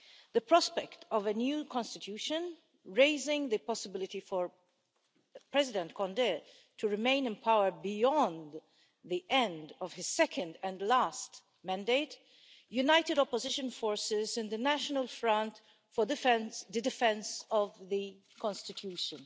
The prospect of a new constitution, raising the possibility for President Condé to remain in power beyond the end of his second and last mandate, united opposition forces and the National Front for the Defence of the Constitution